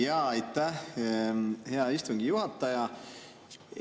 Jaa, aitäh, hea istungi juhataja!